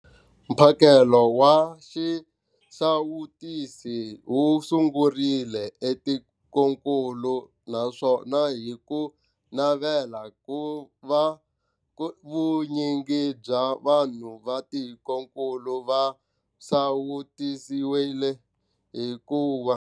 Mphakelo wa xisawutisi wu sungurile etikwenikulu naswona hi navela ku va vunyingi bya vanhu va tikokulu va sawutisiwile hi ku.